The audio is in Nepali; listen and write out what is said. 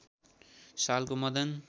सालको मदन